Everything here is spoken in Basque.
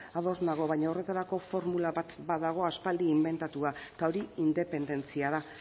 ados nago baina horretarako formula bat badago aspaldi inbentatua eta hori independentzia da